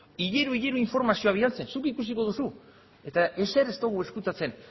hilero hilero informazioa bidaltzen zuk ikusiko duzu eta ezer ez dugu ezkutatzen